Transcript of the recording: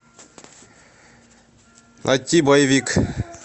найти боевик